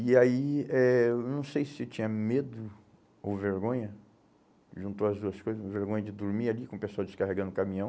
E aí, eh, eu não sei se eu tinha medo ou vergonha, juntou as duas coisas, vergonha de dormir ali com o pessoal descarregando o caminhão,